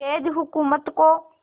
अंग्रेज़ हुकूमत को